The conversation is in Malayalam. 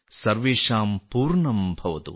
സർവേഷാം പൂർണം ഭവതു